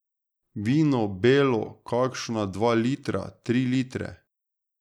Vino, belo, kakšna dva litra, tri litre.